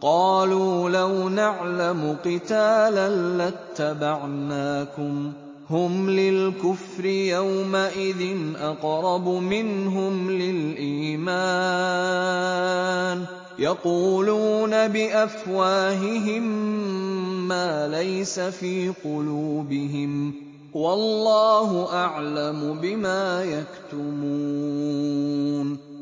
قَالُوا لَوْ نَعْلَمُ قِتَالًا لَّاتَّبَعْنَاكُمْ ۗ هُمْ لِلْكُفْرِ يَوْمَئِذٍ أَقْرَبُ مِنْهُمْ لِلْإِيمَانِ ۚ يَقُولُونَ بِأَفْوَاهِهِم مَّا لَيْسَ فِي قُلُوبِهِمْ ۗ وَاللَّهُ أَعْلَمُ بِمَا يَكْتُمُونَ